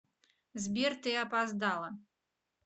сбер ты опоздала